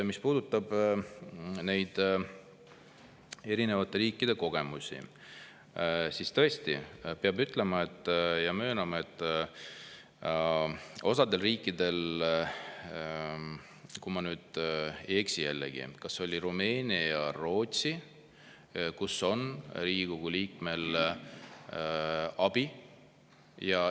Mis puudutab neid erinevate riikide kogemusi, siis tõesti peab ütlema ja möönma, et on riike – kui ma nüüd ei eksi, jällegi, kas olid Rumeenia ja Rootsi –, kus on liikmel abi.